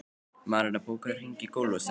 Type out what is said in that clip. Marinella, bókaðu hring í golf á sunnudaginn.